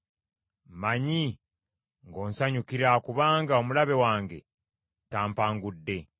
Mmanyi ng’onsanyukira, kubanga omulabe wange tampangudde.